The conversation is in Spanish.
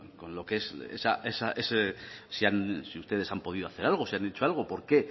con si ustedes han podido hacer algo si han hecho algo por qué el